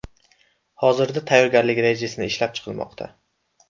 Hozirda tayyorgarlik rejasini ishlab chiqilmoqda.